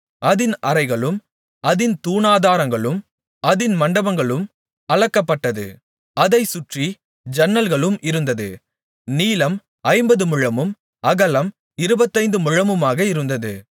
அதின் அறைகளும் அதின் தூணாதாரங்களும் அதின் மண்டபங்களும் அளக்கப்பட்டது அதைச் சுற்றி ஜன்னல்களும் இருந்தது நீளம் ஐம்பது முழமும் அகலம் இருபத்தைந்து முழமுமாக இருந்தது